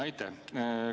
Aitäh!